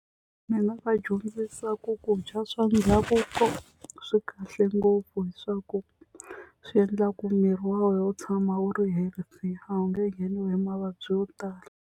Ni nga va dyondzisa ku ku dya swa ndhavuko swi kahle ngopfu hi swa ku swi endlaku miri wa wena wu tshama wu ri healthy a wu nge ngheniwi hi mavabyi yo tala.